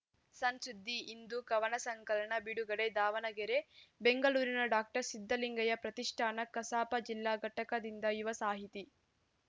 ಸಣ್‌ ಸುದ್ದಿ ಇಂದು ಕವನ ಸಂಕಲನ ಬಿಡುಗಡೆ ದಾವಣಗೆರೆ ಬೆಂಗಳೂರಿನ ಡಾಸಿದ್ಧಲಿಂಗಯ್ಯ ಪ್ರತಿಷ್ಠಾನ ಕಸಾಪ ಜಿಲ್ಲಾ ಘಟಕದಿಂದ ಯುವ ಸಾಹಿತಿ